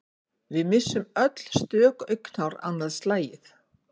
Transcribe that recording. Við missum öll stök augnhár annað slagið.